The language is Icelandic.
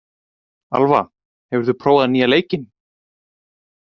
Alva, hefur þú prófað nýja leikinn?